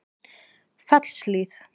Fellshlíð